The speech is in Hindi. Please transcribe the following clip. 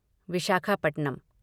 विशाखापट्टनम